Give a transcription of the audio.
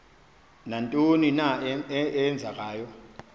nantoni na eenzekayo